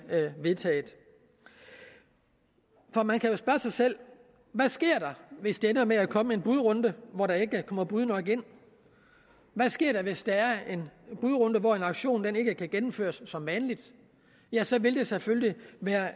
vedtaget for man kan jo spørge sig selv hvad sker der hvis det ender med at der kommer en budrunde hvor der ikke kommer bud nok ind hvad sker der hvis der er en budrunde hvor en auktion ikke kan gennemføres som vanligt ja så vil det selvfølgelig være